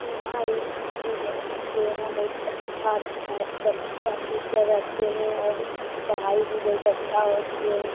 यहाँ एक स्कूल है जो यहाँ बहुत अच्छा-अच्छा बच्चा टीचर रहते हैं और पढ़ाई भी बहुत अच्छा होते हैं।